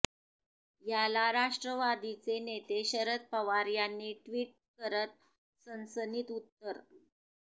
याला राष्ट्रवादीचे नेते शरद पवार यांनी ट्विट करत सणसणीत उत्तर